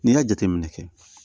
N'i y'a jateminɛ kɛ